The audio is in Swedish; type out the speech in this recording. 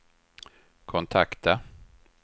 kontakta